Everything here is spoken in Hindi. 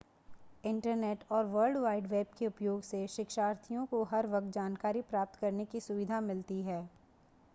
इंटरनेट और वर्ल्ड वाइड वेब के उपयोग से शिक्षार्थियों को हर वक्त जानकारी प्राप्त करने की सुविधा मिलती है